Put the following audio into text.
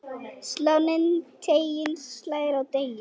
Sláninn teiginn slær á degi.